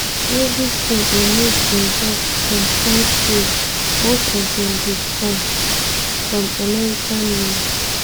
evritin e make involve some kain steel much of dem dey come from american mills.